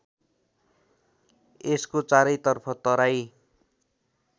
यसको चारैतर्फको तराई